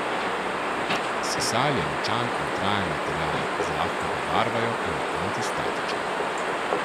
Sisal je močan in trajen material, zlahka ga barvajo in je antistatičen.